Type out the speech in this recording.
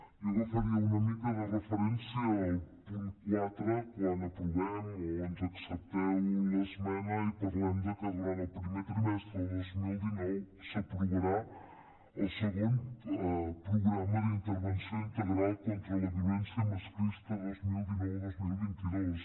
jo agafaria una mica de referència el punt quatre quan aprovem o ens accepteu l’esmena i parlem que durant el primer trimestre del dos mil dinou s’aprovarà el segon programa d’intervenció integral contra la violència masclista dos mil dinou dos mil vint dos